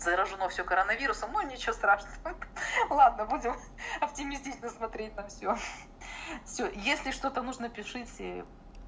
заражено всё короновирусом ну ничего страшного ха-ха ладно будем оптимистично смотреть на всё всё если что-то нужно пишите